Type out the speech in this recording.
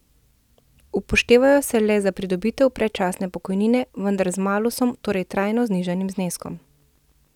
Upoštevajo se le za pridobitev predčasne pokojnine, vendar z malusom, torej trajno nižjim zneskom.